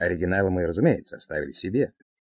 оригиналы мы разумеется оставили себе